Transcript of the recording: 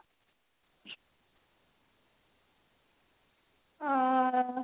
ଓଃ ହୋ